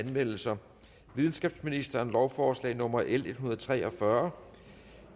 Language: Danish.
anmeldelser videnskabsministeren lovforslag nummer l en hundrede og tre og fyrre